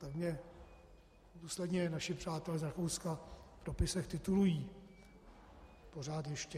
Tak mě důsledně naši přátelé z Rakouska v dopisech titulují, pořád ještě.